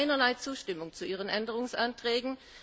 Es gab keinerlei Zustimmung zu Ihren Änderungsanträgen.